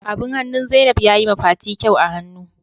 Abin hannun Zainab ya yi ma fati kyau a hannu.